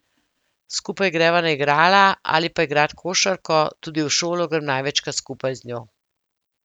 Skupaj greva na igrala ali pa igrat košarko, tudi v šolo grem največkrat skupaj z njo.